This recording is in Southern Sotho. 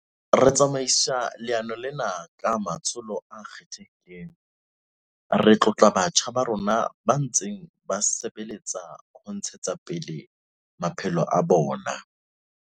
Re tsamaisa leano lena ka matsholo a kgethehileng. Re tlotla batjha ba rona ba ntseng ba sebeletsa ho ntshetsa pele maphelo a bona.